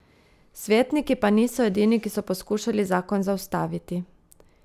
Svetniki pa niso edini, ki so poskušali zakon zaustaviti.